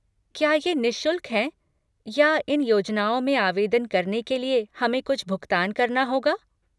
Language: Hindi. क्या ये निःशुल्क हैं या इन योजनाओं में आवेदन करने के लिए हमें कुछ भुगतान करना होगा?